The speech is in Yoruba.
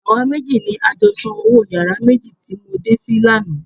Àwa méjì ni a jọ san owó yàrá méjì tí mo dé sí lánàá.